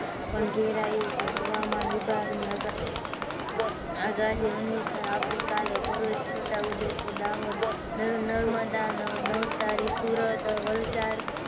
પણ ઘેરાયું છે. હવામાન વિભાગ ની આગાહી અનુસાર આવતીકાલે ભરૂચ, છોટાઉદેપુર, દાહોદ, નર્મદા, નવસારી, સુરત, વલસાડ